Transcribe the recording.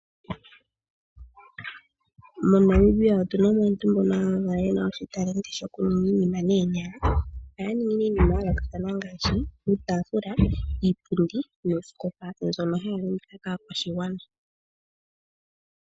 MoNamibia otu na mo aantu mbono ya valwa ye na uunongo wokuninga iinima noonyala. Ohaya ningi iinima ya yoolokathana ngaashi iitaafula, iipundi noosikopa mbyono ha ya landitha po kaakwashigwana.